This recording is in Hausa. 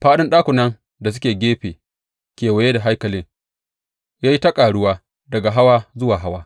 Faɗin ɗakunan da suke gefe kewaye da haikalin ya yi ta ƙaruwa daga hawa zuwa hawa.